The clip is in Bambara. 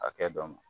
Hakɛ dɔ ma